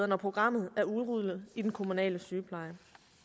når programmet er udrullet i den kommunale sygepleje